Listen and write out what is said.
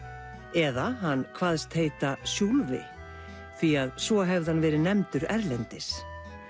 eða hann kvaðst heita Sjúlvi því að svo hefði hann verið nefndur erlendis